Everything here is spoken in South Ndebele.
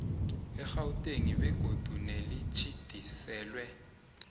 egauteng begodu nelitjhidiselwe